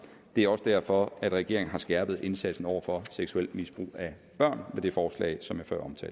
det er også derfor regeringen har skærpet indsatsen over for seksuelt misbrug af børn med det forslag som